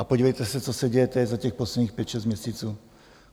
A podívejte se, co se děje teď, za těch posledních pět šest měsíců.